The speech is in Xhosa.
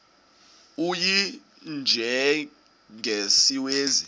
u y njengesiwezi